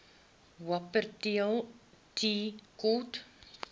wupperthal tea court